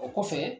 O kɔfɛ